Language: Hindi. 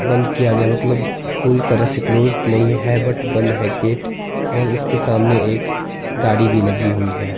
बंद किया गया मतलब पूरी तरह से क्लोज नहीं है बट बंद है गेट और इसके सामने एक गाड़ी भी लगी हुई है।